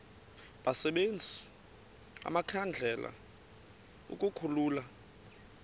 basebenzise amakhandlela ukukhulula